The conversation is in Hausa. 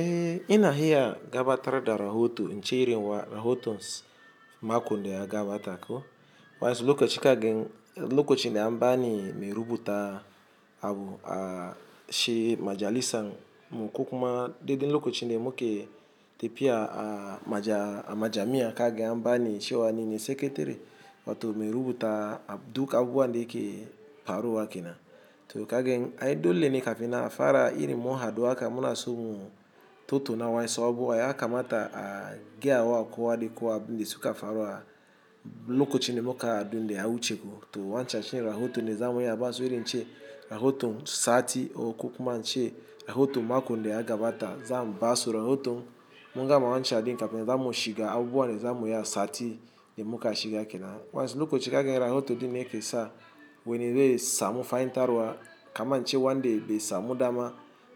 Eh ina gabatar da rahoto, in cirewa rahotons mako da ya gabata ko Wa'insu lokaci kagan lokacin da an bani mai rubuta abu a shi majalisa muku kuma dede lokacinne muke tafiya a a majami'a kaga an bani cewa nine sakatere wato mai rubuta ab duk abubuwan da yake faruwa kenan to kagan ai dole ne kafin nan afara irin mun hadu haka munaso mu tottona wayansu abubuwa yakamata a gayawa kowa da kowa abinda suka faru a lokacin abin da ya wuce to wanchachi rahoto ne zamu ya basu iri nche rahoto sati o kukuma nche rahoto makon da ya gabata zamu basu rahoto munga ma wanchadi kafin zamu shiga abuwa ne zamu ya sati da muka shiga kina. Wayansi lokaci zakaga rahoto dinne yakesa wene be samu faintaruwa kaman nche wanda be samu dama